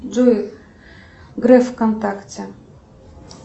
джой греф вконтакте